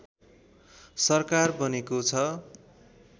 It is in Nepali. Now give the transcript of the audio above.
सरकार बनेको छ